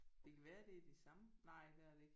Det kan være det er de samme. Nej det er det ikke